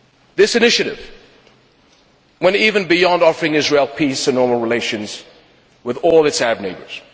This initiative went even beyond offering Israel peace and normal relations with all its Arab neighbours.